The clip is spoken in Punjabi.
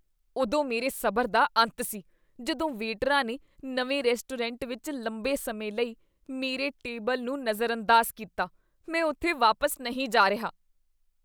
ਉਦੋਂ ਮੇਰੇ ਸਬਰ ਦਾ ਅੰਤ ਸੀ ਜਦੋਂ ਵੇਟਰਾਂ ਨੇ ਨਵੇਂ ਰੈਸਟੋਰੈਂਟ ਵਿੱਚ ਲੰਬੇ ਸਮੇਂ ਲਈ ਮੇਰੇ ਟੇਬਲ ਨੂੰ ਨਜ਼ਰਅੰਦਾਜ਼ ਕੀਤਾ। ਮੈਂ ਉੱਥੇ ਵਾਪਸ ਨਹੀਂ ਜਾ ਰਿਹਾ।